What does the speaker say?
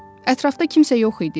Ətrafda kimsə yox idi?